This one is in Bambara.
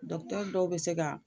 Dɔkutɛri dɔw bɛ se ka